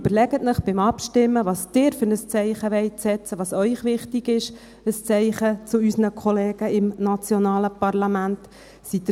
Überlegen Sie sich bei der Abstimmung, welches Zeichen Sie setzen wollen, welches Zeichen an die Kollegen im nationalen Parlament Ihnen wichtig ist.